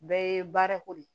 Bɛɛ ye baarako de ye